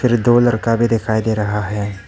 दो लड़का भी दिखाई दे रहा है।